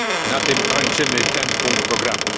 Na tym kończymy ten punkt programu.